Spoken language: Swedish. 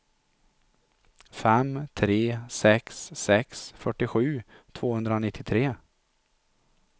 fem tre sex sex fyrtiosju tvåhundranittiotre